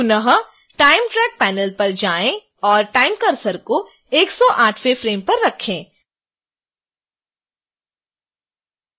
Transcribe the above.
पुनः time track panel पर जाएं और time cursor को 108वें फ्रेम पर रखें